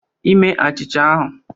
Ime achicha ahụ